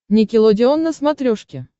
никелодеон на смотрешке